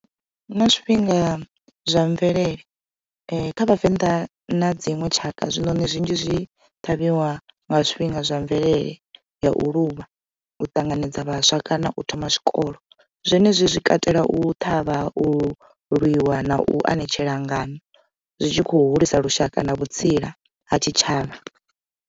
Huna zwifhinga zwa mvelele kha vhavenḓa na dziṅwe tshaka zwinoni zwinzhi zwi ṱhavhiwa nga zwifhinga zwa mvelele ya u luvha, u ṱanganedza vhaswa kana u thoma zwikolo zwenezwi zwi katela u ṱhavha u lwiwa na u anetshela ngano zwi tshi kho hulisa lushaka na vhutsila ha tshitshavha.